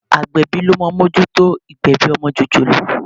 Agbẹ̀bí ló máa ń mójútó ìgbẹ̀bi ọmọ jòjòló.